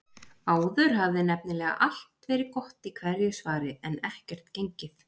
Áður hafði nefnilega allt verið gott í hverju svari, en ekkert gengið.